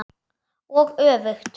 Og öfugt.